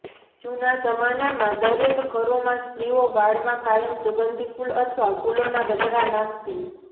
જૂના જમાનામાં દરેક ઘરોમાં સ્રીઓ વાળમાં કાયમ સુગંધી ફુલ અથવા ફુલોના ગજરા નાખતી